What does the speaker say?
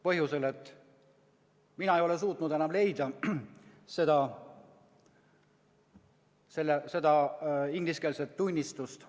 Põhjusel, et mina ei ole suutnud enam leida seda ingliskeelset tunnistust.